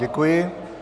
Děkuji.